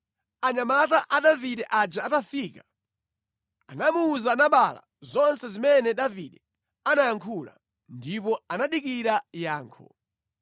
Anyamata a Davide aja atafika, anamuwuza Nabala zonse zimene Davide anayankhula. Ndipo anadikira yankho.